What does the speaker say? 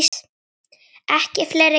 Ekki fleiri ketti.